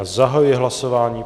Já zahajuji hlasování.